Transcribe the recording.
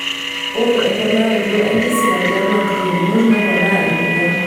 Ore emponaroto entisipa tiatua nkitekinot neponaa empijan.